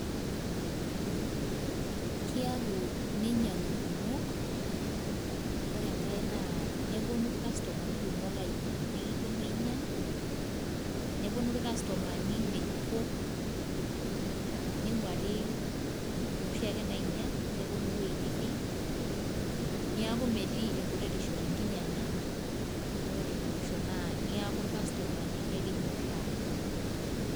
Kiaku ninyang'u irkumok, ore enkae naa neponu ircustomani kumok ainya nekiponu ainyang', neponu irkustomani nkejukok ning'uari inoshi ake nainyang' neponu ewuei nitii. Neeku metii enkuretishu te nkinyang'a, ore ene mwisho naa neeku ircustomani kekinyoraa.